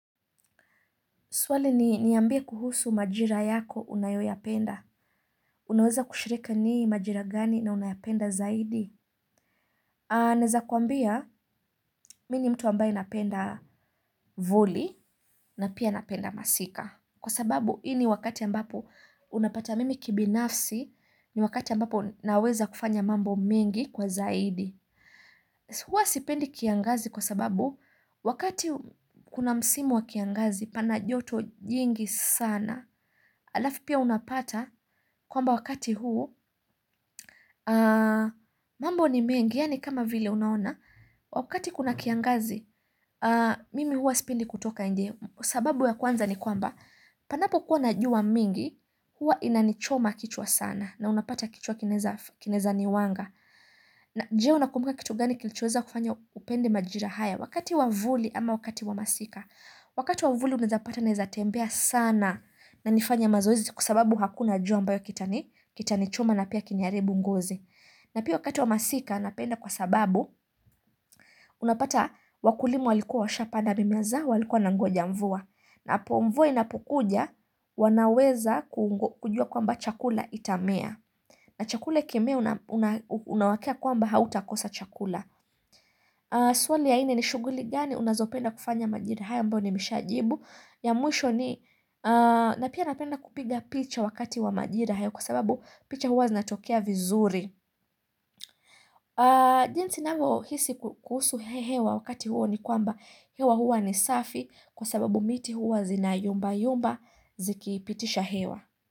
Swali ni niambie kuhusu majira yako unayoyapenda. Unaweza kushiriki nii majira gani na unayapenda zaidi? Naeza kuambia mimi ni mtu ambaye napenda voli na pia napenda masika. Kwa sababu ini wakati ambapo unapata mimi kibinafsi ni wakati ambapo naweza kufanya mambo mingi kwa zaidi. Huwa sipendi kiangazi kwa sababu wakati kuna msimu wa kiangazi pana joto jingi sana. Alafu pia unapata kwamba wakati huu mambo ni mengi ya ni kama vile unaona wakati kuna kiangazi mimi hua sipendi kutoka ne sababu ya kwanza ni kwamba panapo kuwa najua mingi hua inanichoma kichwa sana na unapata kichwa kinaweza niwanga je, unakumbuka kitu gani kilichoweza kufanya upende majira haya wakati wa mvuli ama wakati wa masika wakati wamvuli unawezapata naezatembea sana na nifanya mazoezi kwa sababu hakuna jua ambayo kitani choma na pia kiniharibu ngozi. Na pia wakati wa masika napenda kwa sababu unapata wakulima walikuwa washapanda mimea zao walikuwa wanangoja mvua. Hapo mvua inapokuja wanaweza kujua kwamba chakula itamea. Na chakula ikimea unawakia kwamba hautakosa chakula. Swali ya nne ni shuguli gani unazopenda kufanya majira haya ambayo ni meshajibu. Ya mwisho ni napia napenda kupiga picha wakati wa majira kwa sababu picha huwa zinatokea vizuri jinsi navyo hisi kuhusu hewa wakati huo ni kwamba hewa huwa ni safi kwa sababu miti huwa zinayumba yumba zikipitisha hewa.